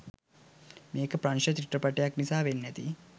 මේක ප්‍රංශ චිත්‍රපටයක් නිසා වෙන්න ඇති